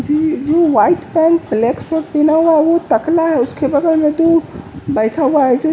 यह जो white pant black shirt पहना हुआ है वो तकला है उसके बगल में तो बैठा हुआ है जो--